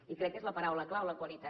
i crec que és la paraula clau la qualitat